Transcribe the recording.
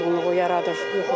Əsəb pozğunluğu yaradır.